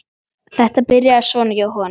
Þetta byrjaði svona hjá honum.